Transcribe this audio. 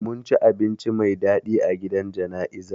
Mun ci abinci mai dadi a gidan jana'izar